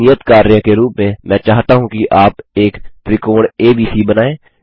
एक नियत कार्य के रूप में मैं चाहता हूँ कि आप एक त्रिकोण एबीसी बनाएँ